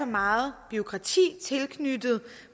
meget bureaukrati tilknyttet